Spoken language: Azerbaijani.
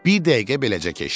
Bir dəqiqə beləcə keçdi.